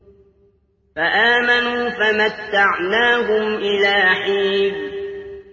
فَآمَنُوا فَمَتَّعْنَاهُمْ إِلَىٰ حِينٍ